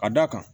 A da kan